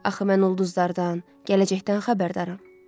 Axı mən ulduzlardan gələcəkdən xəbərdaram.